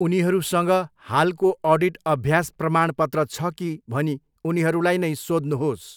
उनीहरूसँग हालको अडिट अभ्यास प्रमाणपत्र छ कि भनी उनीहरूलाई नै सोध्नुहोस्।